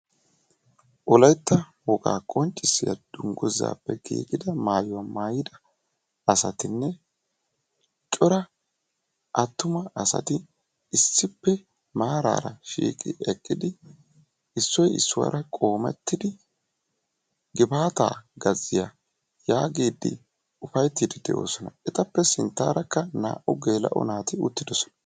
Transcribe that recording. Wolaytta wogaa qonccissiya dunggizzaappe giigida mayuwa mayida asatinne cora attuma asati issippe maaraara shiiqi eqqidi issoy issuwaara qoomettidi gifaataa gazziya yaagiiddi ufayittiiddi de'oosona. Etappe sinttaarakka naa"u geela'o naati uttidosona.